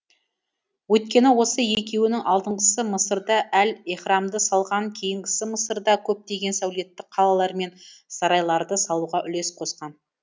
өйткені осы екеуінің алдыңғысы мысырда әл еһрамды салған кейінгісі мысырда көптеген сәулетті қалалар мен сарайларды салуға үлес қосқан